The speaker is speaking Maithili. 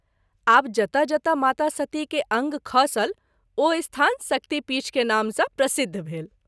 आब जतय जतय माता सती के अंग खसल ओ स्थान शक्तिपीठ के नाम सँ प्रसिद्ध भेल।